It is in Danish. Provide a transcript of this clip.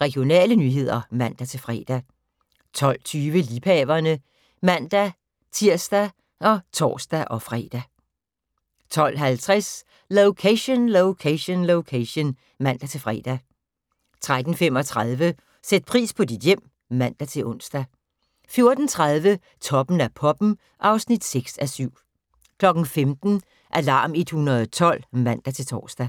Regionale nyheder (man-fre) 12:20: Liebhaverne (man-tir og tor-fre) 12:50: Location, Location, Location (man-fre) 13:35: Sæt pris på dit hjem (man-ons) 14:30: Toppen af poppen (6:7) 15:00: Alarm 112 (man-tor)